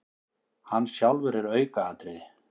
Hann sjálfur er aukaatriði.